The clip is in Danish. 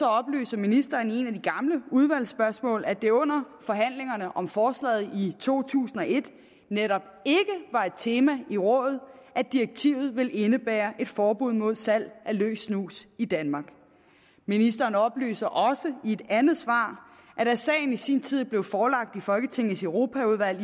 oplyser ministeren i et af de gamle udvalgsspørgsmål at det under forhandlingerne om forslaget i to tusind og et netop ikke var et tema i rådet at direktivet ville indebære et forbud mod salg af løs snus i danmark ministeren oplyser også i et andet svar at da sagen i sin tid blev forelagt folketingets europaudvalg